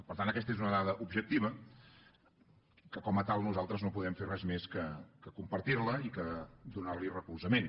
per tant aquesta és una dada objectiva que com a tal nosaltres no podem fer res més que compartir la i donar hi recolzament